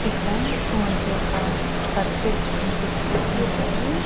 ఇక్కడా మనకి ఒక సర్కిల్ కనిపిస్తూ ఉందండి.